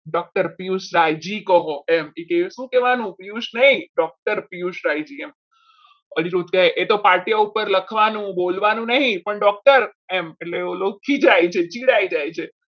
doctor Piyush Rayji કહો કે શું કહેવાનું પિયુષ નહીં પિયુષ રાજ્ય તો પાટીયા ઉપર લખવાનું બોલવાનું નહીં પણ doctor એમ એટલે એ ઓળખી જાય છે ચિડાઈ જાય છે.